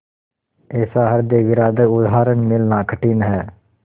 ऐसा हृदयविदारक उदाहरण मिलना कठिन है